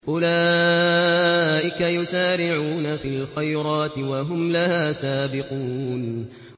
أُولَٰئِكَ يُسَارِعُونَ فِي الْخَيْرَاتِ وَهُمْ لَهَا سَابِقُونَ